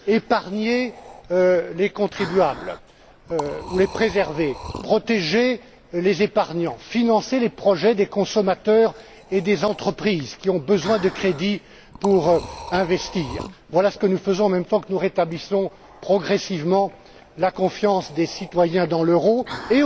Épargner ou préserver les contribuables, protéger les épargnants, financer les projets des consommateurs et des entreprises, qui ont besoin de crédits pour investir voilà ce que nous faisons en même temps que nous rétablissons progressivement la confiance des citoyens dans l'euro tout comme